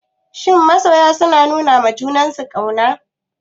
Shin masoya suna nunawa juna ƙauna?